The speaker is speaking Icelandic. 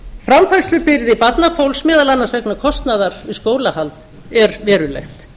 framfærslubyrði barnafólks meðal annars vegna kostnaðar við skólahald er verulegt